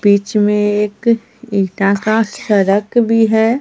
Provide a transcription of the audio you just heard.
बीच में एक इंटा का सड़क भी है।